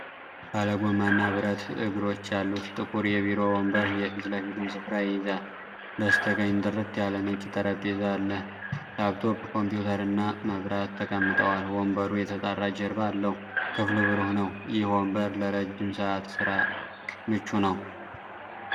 ባለ ጎማና ብረት እግሮች ያሉት ጥቁር የቢሮ ወንበር የፊት ለፊቱን ስፍራ ይይዛል። በስተቀኝ ጥርት ያለ ነጭ ጠረጴዛ አለ፤ ላፕቶፕ ኮምፒውተርና መብራት ተቀምጠዋል። ወንበሩ የተጣራ ጀርባ አለው:ክፍሉ ብሩህ ነው። ይህ ወንበር ለረጅም ሰዓት ሥራ ምቹ ነው?